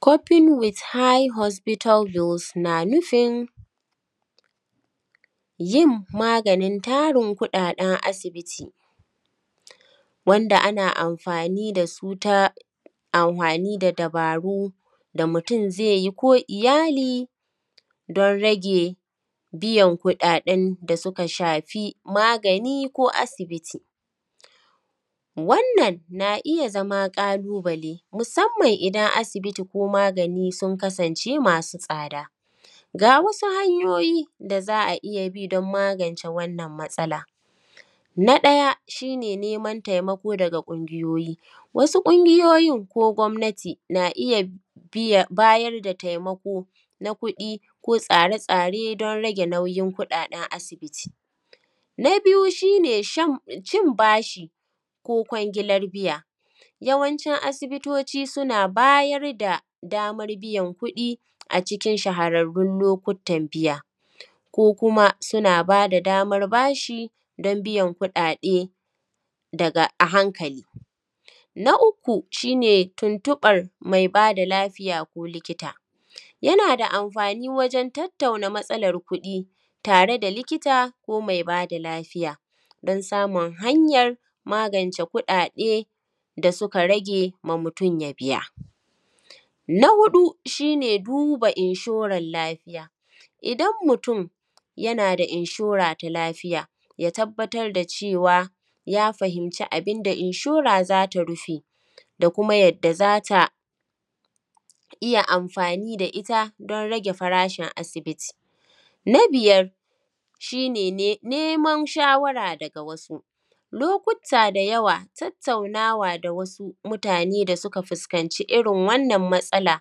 Coping with high hospital bills na nufin yin maganin tarin kuɗaɗen asibiti, wanda ana amfani da su ta amfani da dabaru da mutum zai yi ko iyali don rage biyan kuɗaɗen da suka shafi magani ko asibiti. Wannan na iya zama ƙalubale, musamman idan asibiti ko magani sun kasance masu tsada. Ga wasu hanyoyi da za a iya bi don magance wannan matsala: na ɗaya, shi ne neman taimako daga ƙungyoyi. Wasu ƙungiyoyin ko gwamnati na iya biyan, bayar da taimako na kuɗi ko tsare-tsare don rage nauyin kuɗaɗen asibiti. Na biyu shi ne cin bashi ko kwangilar biya. Yawancin asibitoci suna bayar da damar biyan kuɗi a cikin shahararrun lokutan biya, ko kuma suna ba da damar bashi don biyan kuɗaɗe daga a hankali. Na uku shi ne tuntuɓar mai ba da lafiya ko likita. Yana da amfani wajen tattauna matsalar kuɗi tare da likita ko mai ba da lafiya don samun hanyar magance kuɗaɗe da suka rage ma mutum ya biya. Na huɗu shi ne duba inshorar lafiya. Idan mutum yana da inshora ta lafiya, ya tabbatar da cewa, ya fahimci abin da inshora za ta rufe da kuma yadda za ta iya amfani da ita don rage farashin asibiti. Na biyar shi ne neman shawara daga wasu. Lokuta da yawa, tattaunawa da wasu mutane da suka fuskanci irin wannan matsala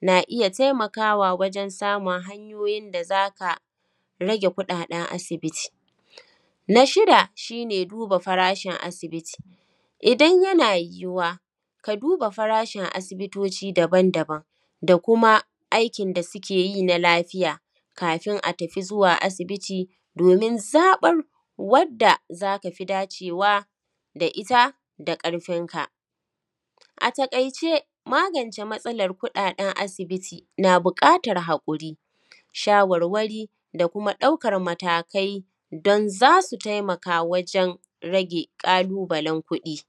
na iya taimakawa wajen samun hanyoyin da za ka rage kuɗaɗen asibiti. Na shida shi ne duba farashin asibiti. Idan yana yiwuwa, ka duba farashin asibitoci daban daban da kuma aikin da suke yi na lafiya kafin a tafi zuwa asibiti domin zaɓar wadda za ka fi dacewa da ita da ƙarfinka. A taƙaice, magance matsalar kuɗaɗen asibiti na buƙatar haƙuri, shawarwari da kuma ɗaukar matakai don za su taimaka wajen rage ƙalubalen kuɗi.